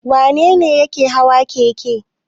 Wane ne yake hawa keke?